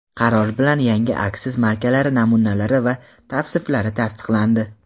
Qaror bilan yangi aksiz markalari namunalari va tavsiflari tasdiqlandi.